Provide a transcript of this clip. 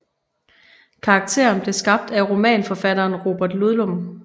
Karakteren belv skabt af romanforfatteren Robert Ludlum